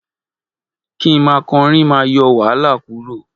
Kí ma korin ma yo wahala kuro